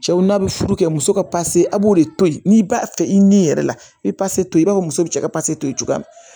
Cɛw na bɛ furu kɛ muso ka a b'o de to yen n'i b'a fɛ i ni yɛrɛ la i bɛ pase to i b'a fɔ muso bɛ cɛ ka pase to ye cogoya min na